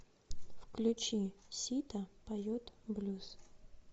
включи сита поет блюз